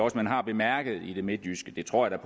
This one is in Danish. at man har bemærket i det midtjyske det tror jeg